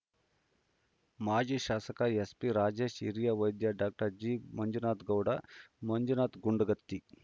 ಮಾಜಿ ಶಾಸಕ ಎಸ್ ಪಿರಾಜೇಶ ಹಿರಿಯ ವೈದ್ಯ ಡಾಕ್ಟರ್ ಜಿಮಂಜುನಾಥ ಗೌಡ ಮಂಜುನಾಥ ಗುಂಡಗತ್ತಿ